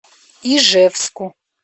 ижевску